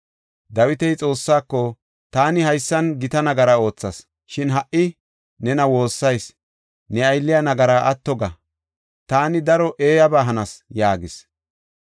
Dawiti Xoossaako, “Taani haysan gita nagara oothas. Shin ha77i nena woossayis; ne aylliya nagaraa atto ga; taani daro eeyaba hanas” yaagis.